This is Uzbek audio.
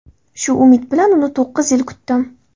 Shu umid bilan uni to‘qqiz yil kutdim.